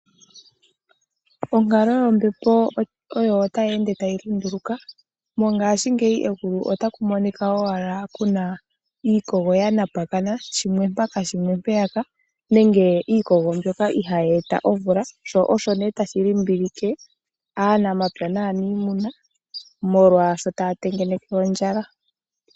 Onkalo yombepo oyo tayi ende tayi lunduluka, mongaashingeyi kegulu otaku monika iikogo ya napakana, shimwe mpaka, shimwe mpeyaka nenge iikogo mbyoka ihaayi eta omvula, sho osho nee tashi limbilike aanamapya naaniimuna molwaashoka taya tengeneke ondjala.